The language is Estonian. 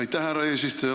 Aitäh, härra eesistuja!